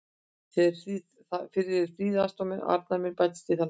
Fyrir eru þrír aðstoðarmenn og Arnar mun bætast í þann hóp.